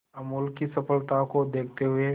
अमूल की सफलता को देखते हुए